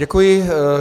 Děkuji.